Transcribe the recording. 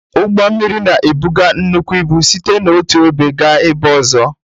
Ụgbọ mmiri na-ebuga nnukwu ịbụ site n'otu ebe gaa ebe ọzọ.